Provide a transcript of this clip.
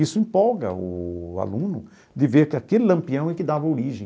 Isso empolga o aluno de ver que aquele Lampião é que dava origem.